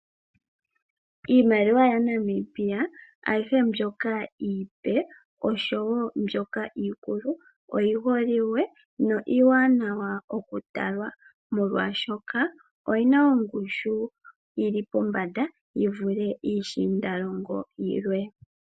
Iimaliwa yaNamibia ayihe mbyoka iipe , osho woo mbyoka iikulu oyiholiwe molwaashi noiiwanawa okutalwa, molwaashoka oyina ongushu yili pombada yi vule iishiindalongo yilwe.